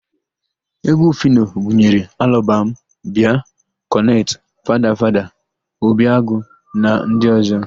Égwú Fino gụnyere Alọbam, Bịa, Kọnet, Fada Fada, Obi Agụ na ndị ọ̀zọ́.